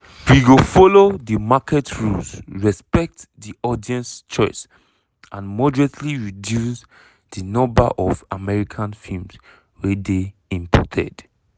"we go follow di market rules respect di audience choice and moderately reduce di number of american films wey dey imported."